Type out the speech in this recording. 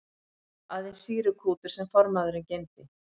Aðeins sýrukútur sem formaðurinn geymdi.